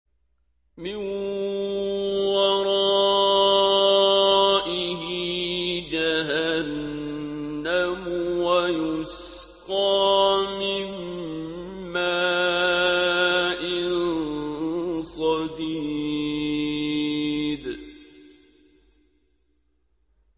مِّن وَرَائِهِ جَهَنَّمُ وَيُسْقَىٰ مِن مَّاءٍ صَدِيدٍ